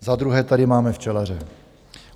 Za druhé tady máme včelaře.